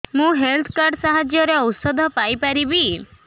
ମୁଁ health card ସାହାଯ୍ୟରେ ଔଷଧ ପାଇ ପାରିବି